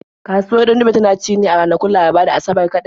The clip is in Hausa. Kasuwar Ɗandume tana ci ne a ranakun Laraba da Asabar kaɗai.